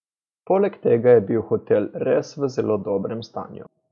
Poleg tega je bil hotel res v zelo dobrem stanju.